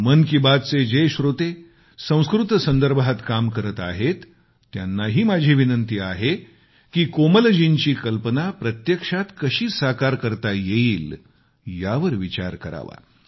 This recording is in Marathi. मन की बातचे जे श्रोते संस्कृत संदर्भात काम करताहेत त्यानांही माझी विनंती आहे की कोमलजींची कल्पना प्रत्यक्षात कशी साकार करता येईल यावर विचार करावा